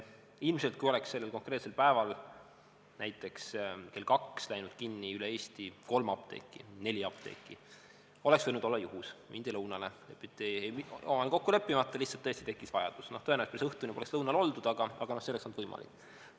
Ilmselt, kui oleks sellel konkreetsel päeval näiteks kell kaks läinud kinni üle Eesti kolm apteeki või neli apteeki, oleks see võinud olla juhus, mindi lõunale omavahel kokku leppimata, lihtsalt tõesti tekkis vajadus, tõenäoliselt päris õhtuni poleks lõunal oldud, aga see oleks olnud võimalik.